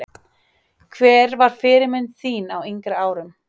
Hver var fyrirmynd þín á yngri árum?